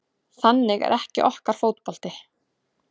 Þannig er ekki okkar fótbolti